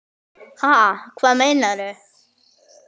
Ha, hvað meinarðu?